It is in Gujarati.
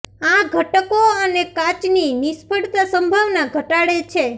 આ ઘટકો અને કાચ ની નિષ્ફળતા સંભાવના ઘટાડે છે